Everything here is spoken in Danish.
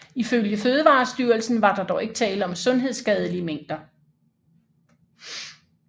Ifølge Fødevarestyrelsen var der dog ikke tale om sundhedsskadelige mængder